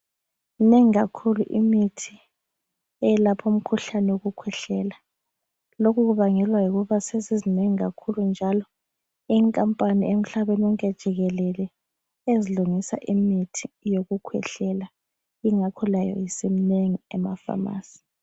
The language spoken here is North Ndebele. Minengi kakhulu imithi eyelapha umkhuhlane wokukhwehlela lokhu kubangelwa yikuba sezizinengi kakhulu njalo inkampani emhlabeni wonke jikelele ezilungisa imithi yokukhwehlela yingakho layo isiminengi emafamasi